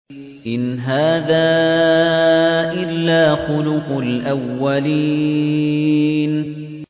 إِنْ هَٰذَا إِلَّا خُلُقُ الْأَوَّلِينَ